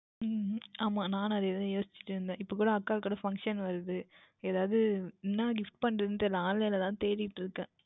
உம் உம் ஆமாம் நானும் அதேதான் யோசித்து கொண்டிருந்தேன் இப்பொழுது கூட அக்காக்கு ஓர் Function வருகின்றது எதாவுது என்ன Gift பன்னுவது என்று தெரியவில்லை Online யில் தான் தேடிக்கொண்டு இருந்தேன்